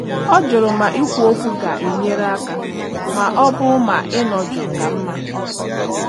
Ọ jụrụ ma ikwu okwu ga-enyere aka ma ọ bụ ma ịnọ jụụ ka mma.